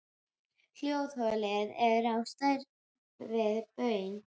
Hljóðholið er á stærð við baun.